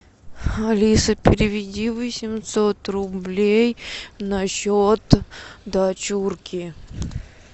алиса переведи восемьсот рублей на счет дочурки